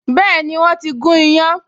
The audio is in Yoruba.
Been, wọ́n ti gún iyán